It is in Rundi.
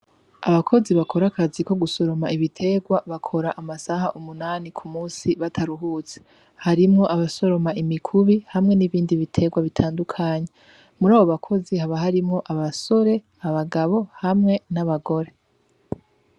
Abakozi bakorakazi ko gusoroma ibiterwa bakora amasaha umunani ku musi, bataruhutse harimwo abasoroma imikubi, hamwe n'ibindi biterwa bitandukanye, muri abo bakozi haba harimwo abasore abagabo hamwe n'abagore.